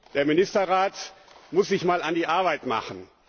Der Ministerrat muss sich mal an die Arbeit machen!